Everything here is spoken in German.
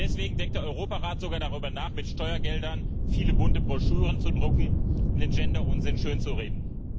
Deswegen denkt der Europarat sogar darüber nach, mit Steuergeldern viele bunte Broschüren zu drucken, um den Gender Unsinn schönzureden.